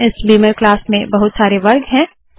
इस बीमर क्लास में बहुत सारे वर्ग है